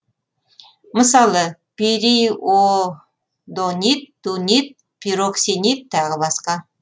мысалы периодонит дунит пироксенит тағы басқа